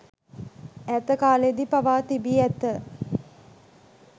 ඈත කාලයේදී පවා තිබී ඇත.